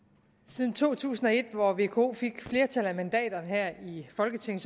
siden to tusind og et hvor vko fik flertallet af mandaterne her i folketinget